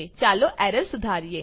ચાલો એરર સુધારીએ